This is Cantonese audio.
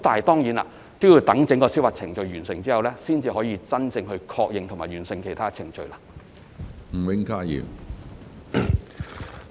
當然，要待整個司法覆核程序完成後，才可以真正確認及完成其他程序。